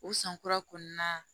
O san kura kɔnɔna na